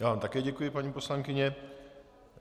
Já vám také děkuji, paní poslankyně.